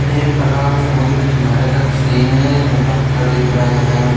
ये एक तालाब समुद्र के किनारे का सीन है इसमें पत्थर दिख रहे हैं।